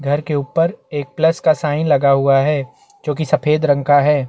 घर के ऊपर एक प्लस का साइन लगा हुआ है जो कि सफेद रंग का है।